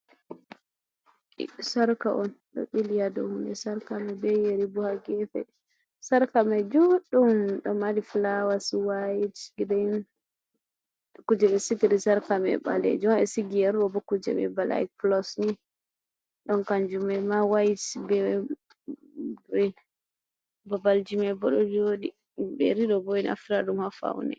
Sarka on ɗo ɓili ha dou hunde sarka mai ɓe yeri bo ha gefe sarka mai joɗɗum ɗo mari flawas waite, green, kuje ɓe sigiri sarka mai ɓalejum ha ɓe sigi yeri ɗo bo kuje mai is like plus ni ɗon kanjuma mai ma waite be griin babal ji maibo ɗo joɗi yeri ɗobo ɓeɗo naftira ha faune.